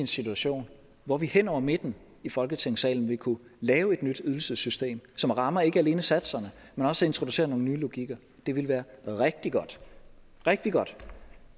situation hvor vi hen over midten i folketingssalen ville kunne lave et nyt ydelsessystem som rammer ikke alene satserne men også introducerer nogle nye logikker det ville være rigtig godt rigtig godt